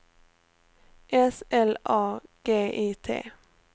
S L A G I T